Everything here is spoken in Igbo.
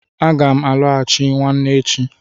Aga m alọghachi nwanne echi.